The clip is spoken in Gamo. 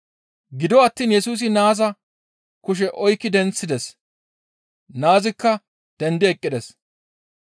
Gido attiin Yesusi naaza kushe oykki denththides; naazikka dendi eqqides.